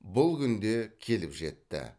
бұл күн де келіп жетті